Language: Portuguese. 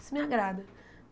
Isso me agrada.